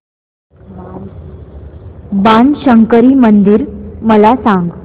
बाणशंकरी मंदिर मला सांग